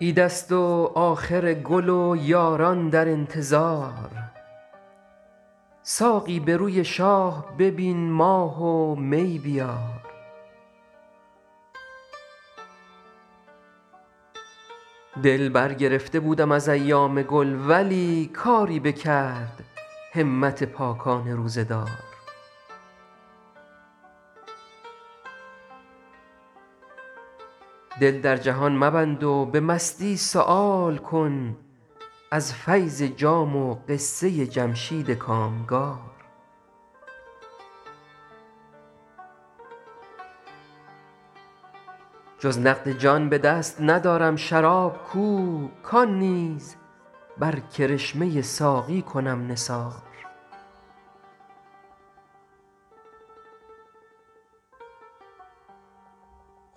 عید است و آخر گل و یاران در انتظار ساقی به روی شاه ببین ماه و می بیار دل برگرفته بودم از ایام گل ولی کاری بکرد همت پاکان روزه دار دل در جهان مبند و به مستی سؤال کن از فیض جام و قصه جمشید کامگار جز نقد جان به دست ندارم شراب کو کان نیز بر کرشمه ساقی کنم نثار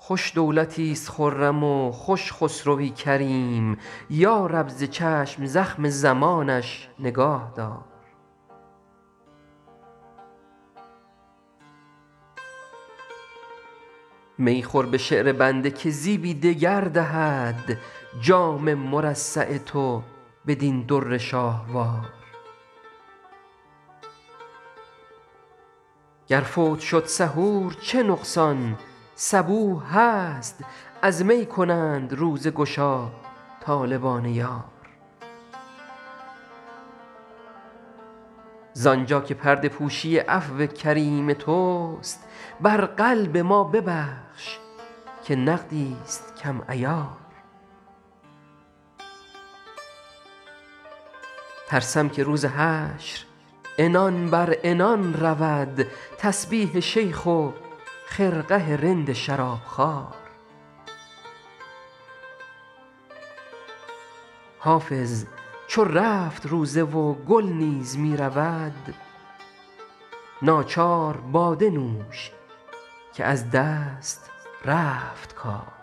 خوش دولتیست خرم و خوش خسروی کریم یا رب ز چشم زخم زمانش نگاه دار می خور به شعر بنده که زیبی دگر دهد جام مرصع تو بدین در شاهوار گر فوت شد سحور چه نقصان صبوح هست از می کنند روزه گشا طالبان یار زانجا که پرده پوشی عفو کریم توست بر قلب ما ببخش که نقدیست کم عیار ترسم که روز حشر عنان بر عنان رود تسبیح شیخ و خرقه رند شرابخوار حافظ چو رفت روزه و گل نیز می رود ناچار باده نوش که از دست رفت کار